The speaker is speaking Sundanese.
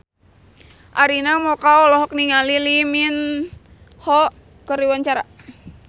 Arina Mocca olohok ningali Lee Min Ho keur diwawancara